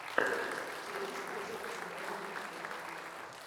первый выпуск миллиона сюрпризов